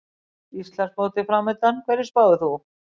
Íslandsmótið framundan, hverju spáir þú?